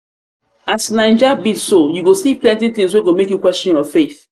as naija be so you go see plenty tins wey go make you question your faith.